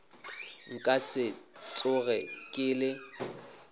nka se tsoge ke le